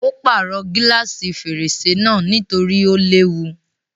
Ó pàrọ̀ gílàsì fèrèsé náà nítorí ó léwu.